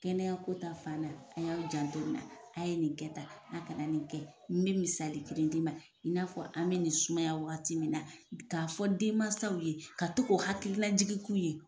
Kɛnɛya ko ta fan na a y'aw janto in na a ye nin kɛ tan a kana nin kɛ ni be misali kelen d'i ma i n'a fɔ an be nin sumaya waati min na k'a fɔ denmansaw ye ka to k'o hakililajigi k'u ye